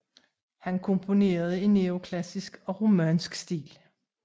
Han komponerede i neoklassisk og romantisk stil